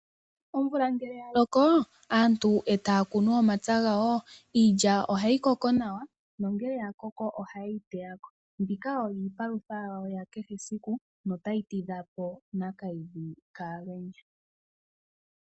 Omvula ngele ya loko aantu etaya kunu omapya gawo, iilya ohayi koko nawa nongele oya koko ohaye yi teya ko. Mbika oyo iipalutha yawo ya kehe siku notayi tidhapo Nakayidhi kAalwenya.